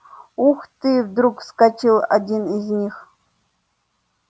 ух ты вдруг вскричал один из них